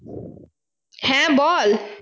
হ্যাঁ বল